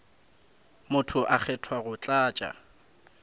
motho a kgethwa go tlatša